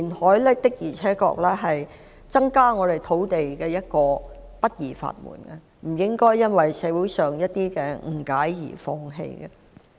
香港過去的歷史告訴我們，填海的確是增加土地的不二法門，不應該因為社會上的一些誤解而放棄。